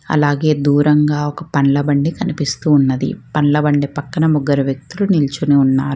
అలాగే దూరంగా ఒక పండ్ల బండి కనిపిస్తూ ఉన్నది పండ్ల బండి పక్కన ముగ్గరు వ్యక్తులు నిల్చొని ఉన్నారు.